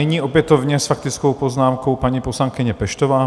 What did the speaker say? Nyní opětovně s faktickou poznámkou paní poslankyně Peštová.